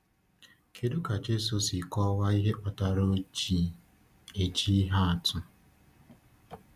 Kedu ka Jésù si kọwaa ihe kpatara o ji eji ihe atụ?